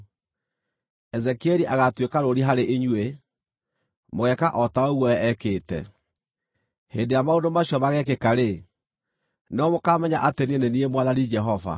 Ezekieli agaatuĩka rũũri harĩ inyuĩ; mũgeeka o ta ũguo we ekĩte. Hĩndĩ ĩrĩa maũndũ macio mageekĩka-rĩ, nĩrĩo mũkaamenya atĩ niĩ nĩ niĩ Mwathani Jehova.’